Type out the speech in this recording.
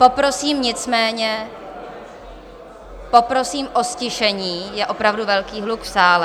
Poprosím nicméně, poprosím o ztišení, je opravdu velký hluk v sále.